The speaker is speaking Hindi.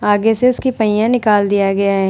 आगे से उसकी पाहिया निकाल दिया गया है।